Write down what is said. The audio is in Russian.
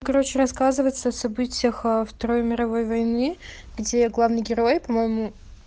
короче рассказывается о событиях о второй мировой войны где главный герой по-моему